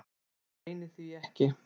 Ég leyni því ekki.